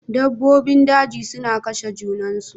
Dabbobin daji suna kashe junansu.